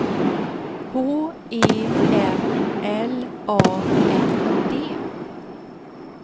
H E M L A N D